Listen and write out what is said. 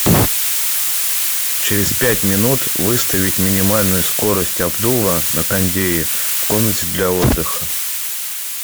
через пять минут выставить минимальную скорость обдува на кондее в комнате для отдыха